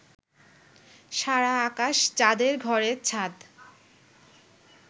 সারা আকাশ যাদের ঘরের ছাদ